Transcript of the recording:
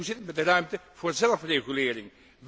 En hoe zit het met de ruimte voor zelfregulering?